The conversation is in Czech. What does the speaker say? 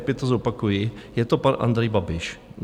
Opět to zopakuji, je to pan Andrej Babiš.